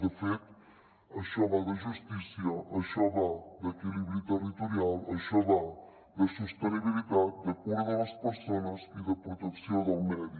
de fet això va de justícia això va d’equilibri territorial això va de sostenibilitat de cura de les persones i de protecció del medi